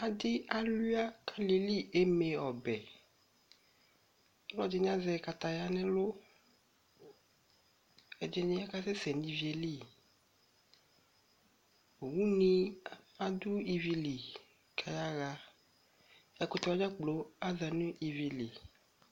Adɩ alʋɩa ka alɩɛli eme ɔbɛƆlɔ dɩnɩ azɛ kataya, ɛdɩnɩ kasɛsɛ nivie li, une adʋ ivie li kayaɣaƐkʋtɛ wa dza kplo aza nʋ ivi li